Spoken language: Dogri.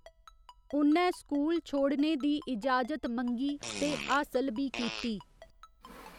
उ'न्नै स्कूल छोड़ने दी इजाजत मंगी ते हासल बी कीती।